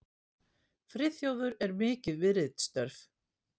Friðþjófur er mikið við ritstörf.